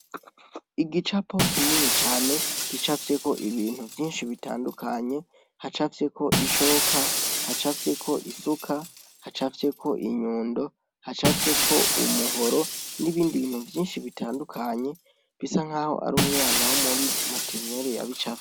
Igicapo kinini cane gicafyeko ibintu vyinshi bitandukanye hacafyeko ishoka hacafyeko isuka hacafyeko inyundo hacafyeko umuhoro n'ibindi bintu vyinshi bitandukanye bisa nk'aho ari umwana wo muri materenere yabicafye